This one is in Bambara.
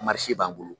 b'an bolo